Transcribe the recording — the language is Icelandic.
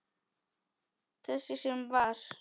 Þess sem var.